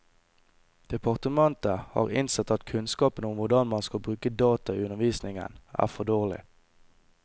Departementet har innsett at kunnskapen om hvordan man skal bruke data i undervisningen, er for dårlig.